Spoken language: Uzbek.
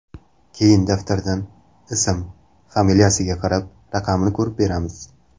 Keyin daftardan ism, familiyasiga qarab, raqamini ko‘rib beramiz.